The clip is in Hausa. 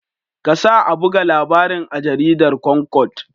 Kasa a buga labarin a jaridar Concord.